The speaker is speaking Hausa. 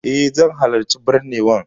Eh, zan halarci binnewan.